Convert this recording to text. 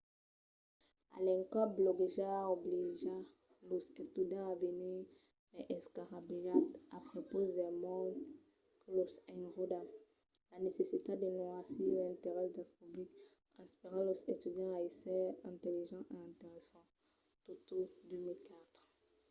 a l'encòp bloguejar obliga los estudiants a venir mai escarrabilhats a prepaus del mond que los enròda. la necessitat de noirir l'interès del public inspira los estudiants a ésser intelligents e interessants toto 2004